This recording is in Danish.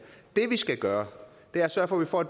det vi skal gøre er at sørge for at